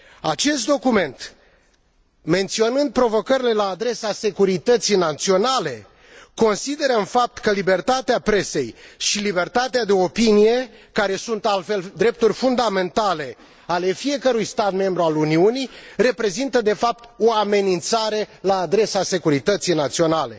Acest document, menționând provocările la adresa securității naționale, consideră în fapt că libertatea presei și libertatea de opinie, care sunt altfel drepturi fundamentale ale fiecărui stat membru al Uniunii, reprezintă de fapt o amenințare la adresa securității naționale.